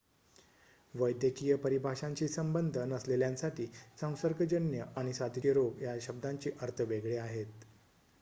वैद्यकीय परिभाषांशी संबंध नसलेल्यांसाठी संसर्गजन्य आणि साथीचे रोग या शब्दांचे अर्थ वेगळे आहेत